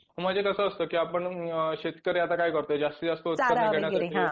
म्हणजे कसं असतं की आपण अ की शेतकरी आता काय करतो जास्ती जास्त